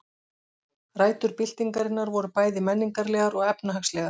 Rætur byltingarinnar voru bæði menningarlegar og efnahagslegar.